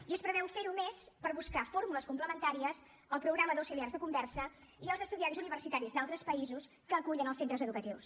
i es preveu fer ho més per buscar fórmules complementàries al programa d’auxiliars de conversa i als estudiants universitaris d’altres països que acullen els centres educatius